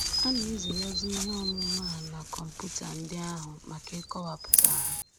A na-ezigazi ihe ọmụma a na kọmputa ndị ahụ maka ịkọwapụta ha